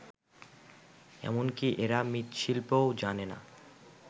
এমনকি এরা মৃৎশিল্পও জানে না